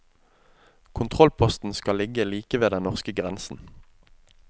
Kontrollposten skal ligge like ved den norske grensen.